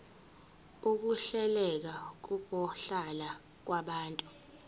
ukuhleleka kokuhlala kwabantu